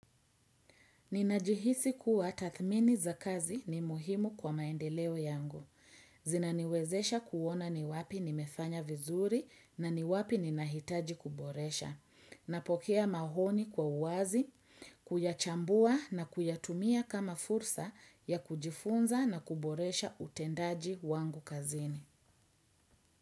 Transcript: Ninajihisi kuwa tadhmini za kazi ni muhimu kwa maendeleo yangu. Zinaniwezesha kuona ni wapi nimefanya vizuri na ni wapi ni nahitaji kuboresha. Napokea maoni kwa uwazi, kuyachambua na kuyatumia kama fursa ya kujifunza na kuboresha utendaji wangu kazini.